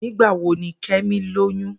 Nigbawo ni Kemi loyun?